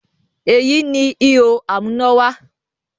Èyí ni “ihò amúnáwá”